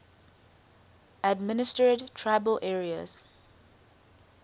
administered tribal areas